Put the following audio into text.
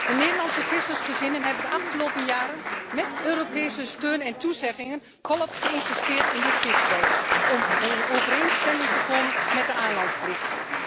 De Nederlandse vissersgezinnen hebben de afgelopen jaren met Europese steun en toezeggingen volop geïnvesteerd in dit vistuig om in overeenstemming te komen met de aanlandplicht.